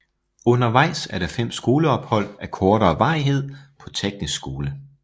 Undervejs er der 5 skoleophold af kortere varighed på teknisk skole